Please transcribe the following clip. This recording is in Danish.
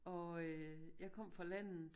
Og øh jeg kom fra landet